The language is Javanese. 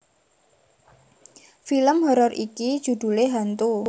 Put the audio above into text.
Film horor iki judhulé Hantu